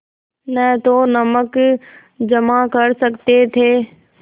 न तो नमक जमा कर सकते थे